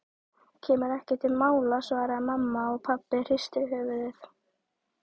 Kemur ekki til mála svaraði mamma og pabbi hristi höfuðið.